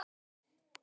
Jú, það er öruggt.